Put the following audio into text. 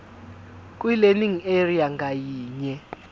kwilearning area ngayinye